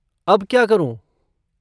अब क्या करूँ?